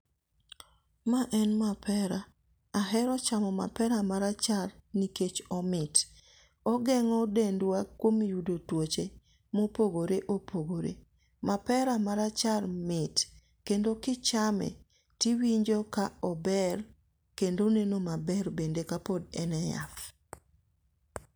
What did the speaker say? Ma en mapera. Ahero chamo mapera marachar nikech omit. ogeng'o dendwa kuom yudo tuoche mopogore opogore. mapera marachar mit kendo kichame tiwinjo ka ober kendo oneno maber bende kapod en e yath.